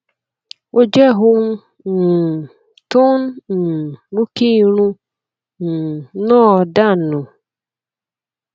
ó jẹ ohun um tó ń um mú kí irun um náà dà nù